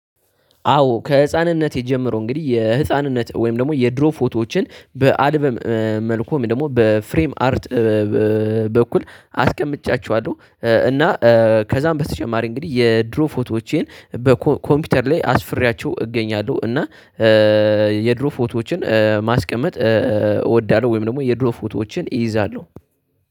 አዎ ከህፃንነቴ ጀምሮ እንግዲህ የህፃንነት ወይም ደግሞ የድሮ ፎቶዎችን በአልበም መልኩ ደግሞ በፍሬም አርት በኩል አስቀምጫቸዋለሁ። እና ከዛም በተጨማሪ እንግዲህ የድሮ ፎቶዎቼን በኮምፒውተር ላይ አስፍሪያቸው እገኛለሁ። እና የድሮ ፎቶዎችን ማስቀመጥ እወዳለሁ። ወይም ደግሞ የድሮ ፎቶዎችን እይዛለሁ